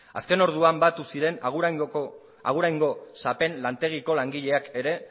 azken orduan batu ziren aguraingo sapen lantegiko langileak ere